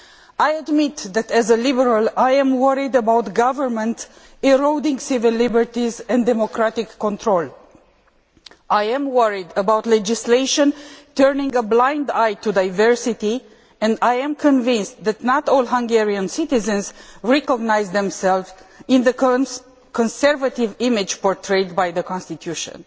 I admit that as a Liberal, I am worried about government eroding civil liberties and democratic control. I am worried about legislation turning a blind eye to diversity, and I am convinced that not all Hungarian citizens recognise themselves in the conservative image portrayed by the constitution.